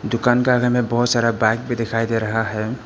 दुकान के आगे में बहोत सारा बाइक भी दिखाई दे रहा है।